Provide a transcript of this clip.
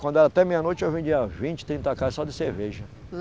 Quando era até meia-noite, eu vendia vinte, trinta caixa só de cerveja.